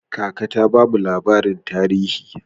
Kaka ta bamu labarin tarihi.